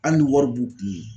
Hali ni wari b'u kun